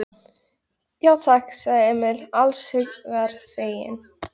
Já, takk, sagði Emil alls hugar feginn.